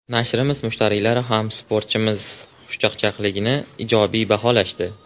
Nashrimiz mushtariylari ham sportchimiz xushchaqchaqligini ijobiy baholashdi.